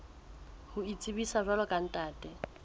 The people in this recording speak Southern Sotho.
ho itsebisa jwalo ka ntate